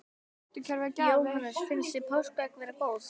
Jóhannes: Finnst þér páskaegg vera góð?